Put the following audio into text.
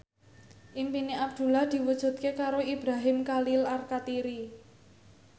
impine Abdullah diwujudke karo Ibrahim Khalil Alkatiri